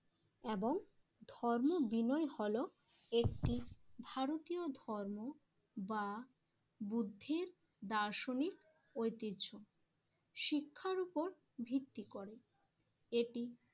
এবং ধর্ম বিনয় হল একটি ভারতীয় ধর্ম বা বুদ্ধির দার্শনিক ঐতিহ্য শিক্ষার উপর ভিত্তি করে, এটি